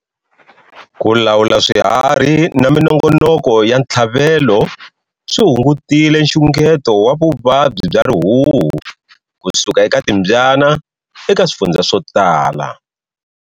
Ku lawula swiharhi na minongonoko ya ntlhavelo swi hungutile xungeto wa vuvabyi bya rihuhu kusuka eka timbyana eka swifundza swo tala.